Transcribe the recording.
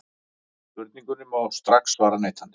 Spurningunni má strax svara neitandi.